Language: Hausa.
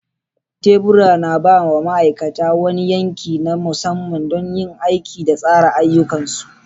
Tebura na ba wa ma'aikata wani yanki na musamman don yin aiki da tsara ayyukansu.